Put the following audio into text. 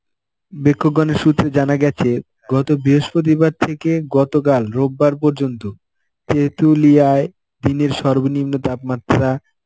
বেক্ষকগণ সূত্রে জানা গেছে গত বৃহস্পতিবার থেকে গতকাল রোববার পর্যন্ত তেঁতুলিয়ায় দিনের সর্বনিম্ন তাপমাত্রা